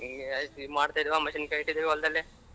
ಹಿಂಗೇ ಆಯ್ತು ಇದ್ ಇಟ್ಟಿದೀವ ಹೊಲದಲ್ಲಿ.